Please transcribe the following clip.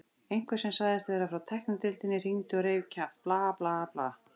Einhver sem sagðist vera frá tæknideildinni hringdi og reif kjaft, bla, bla, bla.